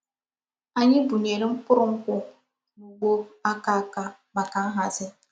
Ányị búnyere mkpụrụ nkwụ n’ụgbọ̀ áka áka maka nhazi.